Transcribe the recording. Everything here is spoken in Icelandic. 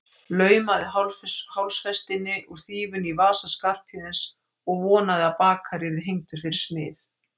Laumaði hálsfestinni úr þýfinu í vasa Skarphéðins og vonaði að bakari yrði hengdur fyrir smið.